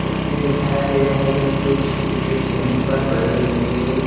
इसमें दिखाया गया है कि कुछ भुट्टे जमीन पर पड़े हुए हैं।